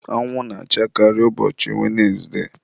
anwụ na-achakarị ụbọchị wenesde.